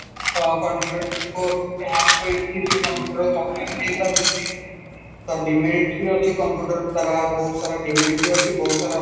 country ମାନଙ୍କୁ hack କରିକି ସେ computer ଚକ୍ମା ନେଇପାରୁଛନ୍ତି ତ demerit ଅଛି computer ତାର ବହୁତ ସାରା demerit ଅଛି ବହୁତସର